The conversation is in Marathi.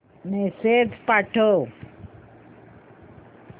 मेसेज पाठव